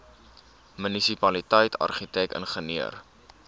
munisipaliteit argitek ingenieur